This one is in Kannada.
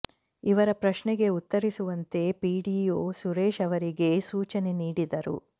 ಇವರ ಪ್ರಶ್ನೆಗೆ ಉತ್ತರಿಸುವಂತೆ ಪಿಡಿಒ ಸುರೇಶ್ ಅವರಿಗೆ ಸೂಚನೆ ನೀಡಿದರು